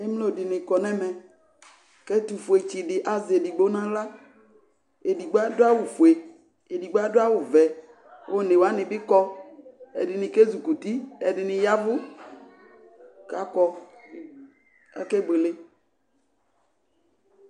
Ɛmlo de ne kɔ nɛmɛ ko ɛtofue tsede azɛ edigbo nahlaEdigbo ado awufue, edigbo ado awuvɛ One wane ne kɔ Ɛdene ke zukuti, ɛdene yavu kakɔ Ake buele